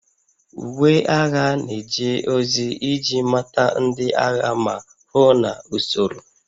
Uwe agha na-eje ozi iji mata ndị agha ma hụ na usoro